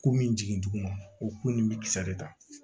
Ko min jigin duguma o ku ni bi kisa de ta